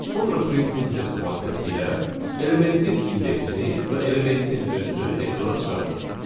Sonra print funksiyası vasitəsilə elementin indeksini və elementin özünü ekrana çıxartdıq.